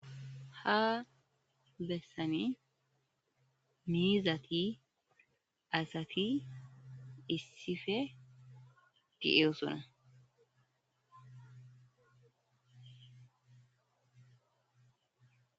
ha bessani miizati asati issife de7oosona.